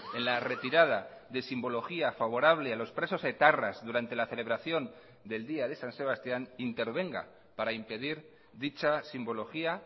en la retirada de simbología favorable a los presos etarras durante la celebración del día de san sebastián intervenga para impedir dicha simbología